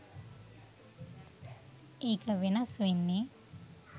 ඒක වෙනස් වෙන්නෙ